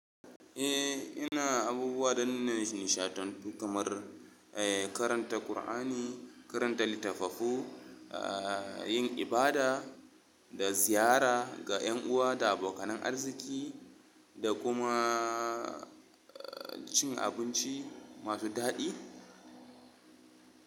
Eh, ina abubuwa danna nishaɗantu kamar, eh karanta Qur'ani, karanta litattafai, ah yin ibada da ziyara ga ƴan uwa da abokanan arziki da kuma cin abinci masu daɗi.